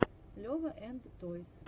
лева энд тойс